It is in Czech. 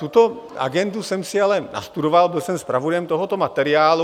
Tuto agendu jsem si ale nastudoval, byl jsem zpravodajem tohoto materiálu.